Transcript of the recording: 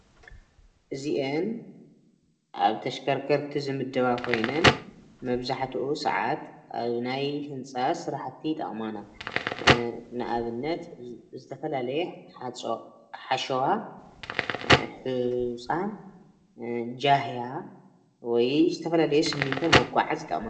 እዚአን ኣብ ተሽከርከቲ ዝምደባ ኮይነን መብዛሕቱ ሰዓት ኣብ ናይ ህንፃ ስራሕቲ ይጠቕማና. ንኣብነት ዝተፈላለየ ሓሸዋን ሑፃን ጃህያን ወይ ዝተፈላለየ ሲሚንቶ ንምጉዓዝ ይጠቕማና::